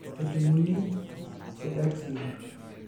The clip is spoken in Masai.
kejung'uni te X linked